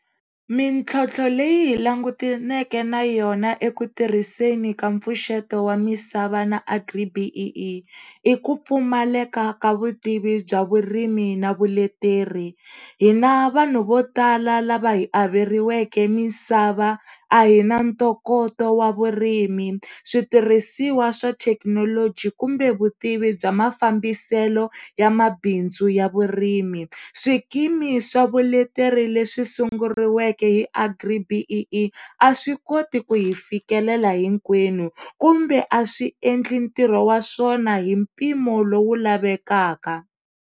Mintlhotlho leyi hi langutaneke na yona eku tirhiseni ka mpfuxeto wa misava na Agri-BEE i ku pfumaleka ka vutivi bya vurimi na vuleteri hina vanhu vo tala lava hi averiweke misava a hi na ntokoto wa vurimi, switirhisiwa swa thekinoloji kumbe vutivi bya mafambiselo yamabindzu ya vurimi. Swikimi swa vuleteri leswi sunguriweke hi Agri-BEE a swi koti ku hi fikelela hinkwenu kumbe a swi endli ntirho wa swona hi mpimo lowu lavekaka.